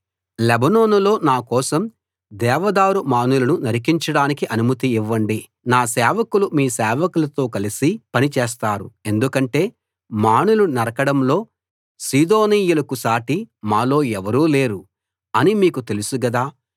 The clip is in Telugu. లెబానోనులో నా కోసం దేవదారు మానులను నరికించడానికి అనుమతి ఇవ్వండి నా సేవకులు మీ సేవకులతో కలిసి పని చేస్తారు ఎందుకంటే మానులు నరకడంలో సీదోనీయులకు సాటి మాలో ఎవరూ లేరు అని మీకు తెలుసు గదా